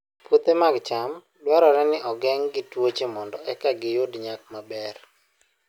Puothe mag cham dwarore ni ogeng' gi tuoche mondo eka giyud nyak maber